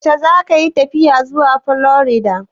Yaushe zakayi tafiya zuwa Florida?